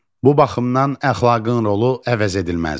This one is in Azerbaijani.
Bu baxımdan əxlaqın rolu əvəzedilməzdir.